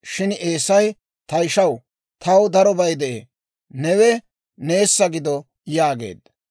Shin Eesay, «Ta ishaw, taw darobay de'ee; newe neessa gido» yaageedda.